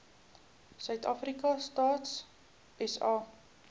suidafrika stats sa